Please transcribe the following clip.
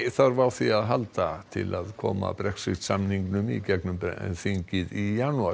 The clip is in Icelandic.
þarf á því að halda til að koma Brexit samningnum í gegnum breska þingið í janúar